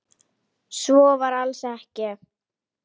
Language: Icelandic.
Svo var alls ekki.